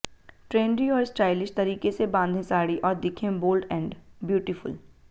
trendy और stylish तरीके से बांधें साड़ी और दिखें बोल्ड एंड ब्यूटीफुल